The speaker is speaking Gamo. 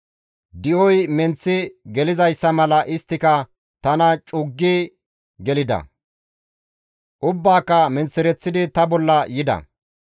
Di7oy menththi gelizayssa mala isttika tana cuggi gelida; ubbaaka menththereththidi ta bolla yida.